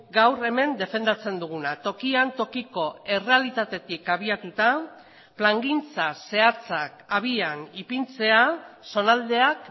gaur hemen defendatzen duguna tokian tokiko errealitatetik abiatuta plangintza zehatzak abian ipintzea zonaldeak